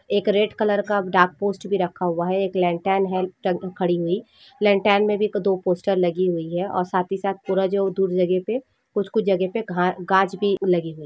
एक red colour डाक post भी रखा हुआ है एक लेलटेन है टंग खड़ी हुई लेलटेन मे भी दो पोस्टर लगी हुई है ओर साथी साथ पूरा जो धूल लगे पे कुछ कुछ जगह पे गाच भी लगी हुई है।